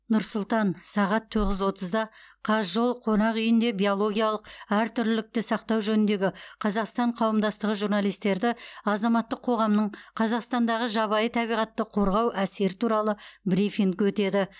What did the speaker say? нұр сұлтан сағат тоғыз отызда казжол қонақ үйінде биологиялық әртүрлілікті сақтау жөніндегі қазақстан қауымдастығы журналистерді азаматтық қоғамның қазақстандағы жабайы табиғатты қорғау әсері туралы брифинг өтеді